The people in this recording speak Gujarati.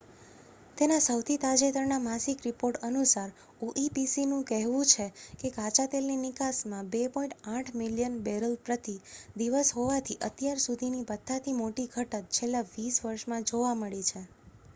તેના સૌથી તાજેતરના માસિક રિપોર્ટ અનુસાર oepcનું કહેવું છે કે કાચાતેલની નિકાસમાં 2.8 મિલિયન બેરલ પ્રતિ દિવસ હોવાથી અત્યાર સુધીની બધાથી મોટી ઘટત છેલ્લા વીસ વર્ષમાં જોવા મળી છે